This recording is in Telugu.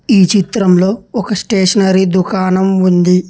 ఈ చిత్రంలో ఒక స్టేషనరీ దుకాణం ఉంది.